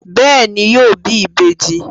Bẹẹni, yóò bí ìbejì